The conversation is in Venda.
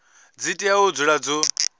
dzi tea u dzula dzo